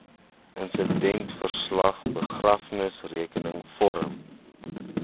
insidentverslag begrafnisrekenings vorm